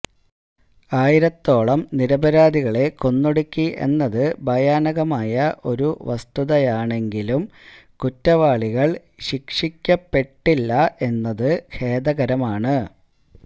ആയിരത്തോളം നിരപരാധികളെ കൊന്നൊടുക്കി എന്നത് ഭയാനകമായ ഒരു വസ്തുതയാണെങ്കിലും കുറ്റവാളികള് ശിക്ഷിക്കപ്പെട്ടില്ല എന്നത് ഖേദകരമാണ്